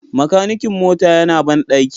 Makanikin mota yana bandaki